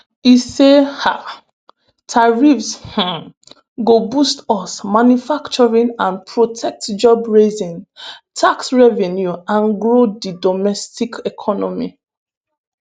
e say um tariffs um go boost us manufacturing and protect jobs raise tax revenue and grow di domestic economy.